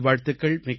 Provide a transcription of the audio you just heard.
மிக்க நன்றி